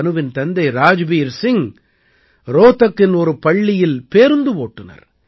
தனுவின் தந்தை ராஜ்பீர் சிங் ரோஹ்தக்கின் ஒரு பள்ளியில் பேருந்து ஓட்டுநர்